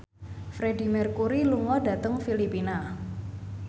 Freedie Mercury lunga dhateng Filipina